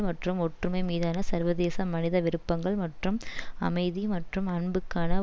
மற்றும் ஒற்றுமை மீதான சர்வதேச மனித விருப்பங்கள் மற்றும் அமைதி மற்றும் அன்புக்கான